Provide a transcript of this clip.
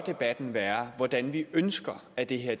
være hvordan vi ønsker at det her